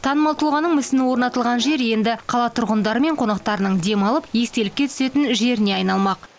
танымал тұлғаның мүсіні орнатылған жер енді қала тұрғындары мен қонақтарының демалып естелікке суретке түсетін жеріне айналмақ